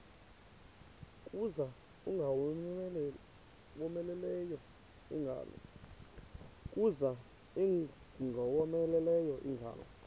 kuza ingowomeleleyo ingalo